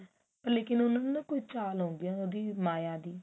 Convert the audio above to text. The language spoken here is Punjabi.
ਲੇਕਿਨ ਉਹਨਾ ਨੂੰ ਨਾ ਕੋਈ ਚਾਲ ਹੁੰਦੀ ਆ ਉਹਦੀ ਮਾਇਆ ਦੀ